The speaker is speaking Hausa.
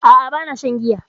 A'a bana shan giya